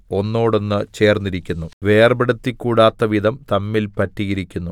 ഒന്നോടൊന്ന് ചേർന്നിരിക്കുന്നു വേർപെടുത്തിക്കൂടാത്തവിധം തമ്മിൽ പറ്റിയിരിക്കുന്നു